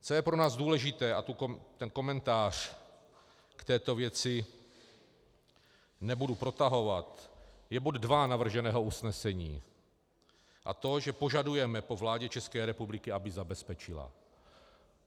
Co je pro nás důležité, a ten komentář k této věci nebudu protahovat, je bod dva navrženého usnesení, a to že požadujeme po vládě České republiky, aby zabezpečila...